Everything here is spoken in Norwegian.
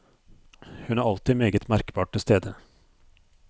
Hun er alltid meget merkbart til stede.